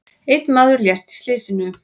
Einn maður lést í slysinu.